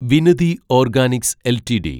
Vinati organics LTD